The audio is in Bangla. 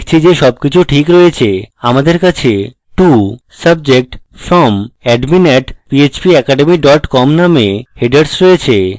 দেখছি যে সবকিছু ঠিক রয়েছে আমাদের কাছে to subject from: admin @phpacademy com নামক headers রয়েছে